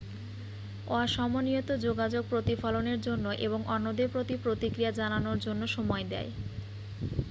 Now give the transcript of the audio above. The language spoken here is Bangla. অসমনিয়ত যোগাযোগ প্রতিফলনের জন্য এবং অন্যদের প্রতি প্রতিক্রিয়া জানানোর জন্য সময় দেয়